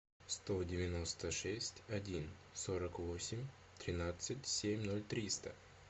сто девяносто шесть один сорок восемь тринадцать семь ноль триста